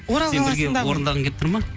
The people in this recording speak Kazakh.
орындағың келіп тұр ма